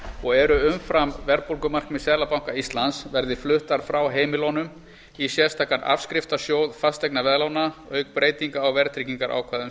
og eru umfram verðbólgumarkmið seðlabanka íslands verði fluttar frá heimilunum í sérstakan afskriftasjóð fasteignaveðlána auk breytinga á verðtryggingarákvæðum